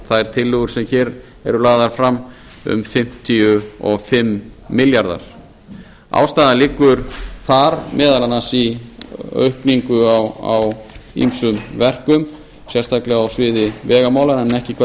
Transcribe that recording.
þær tillögur sem hér eru lagðar fram um fimmtíu og fimm milljarðar ástæðan liggur þar meðal annars í aukningu á ýmsum verkum sérstaklega á sviði vegamála en ekki hvað